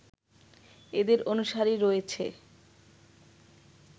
এদের অনুসারী রয়েছে